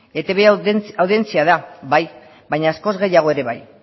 etb audientzia da bai baina askoz gehiago ere bai